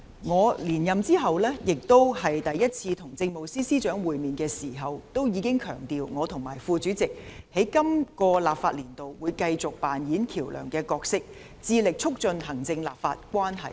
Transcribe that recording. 我在連任後第一次與政務司司長會面時強調，我和副主席在今個立法年度會繼續扮演橋樑的角色，致力促進行政立法關係。